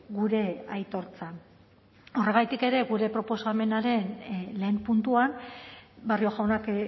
gure aitortza horregatik ere gure proposamenaren lehen puntuan barrio jaunak